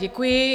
Děkuji.